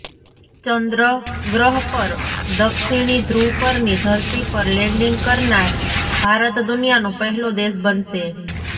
ચંદ્ર ગ્રહ પર દક્ષિણી ધ્રુવ પરની ધરતી પર લેન્ડિંગ કરનાર ભારત દુનિયાનો પહેલો દેશ બનશે